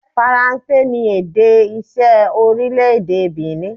Faranse ni èdè iṣẹ́ orílẹ̀-èdè Benin.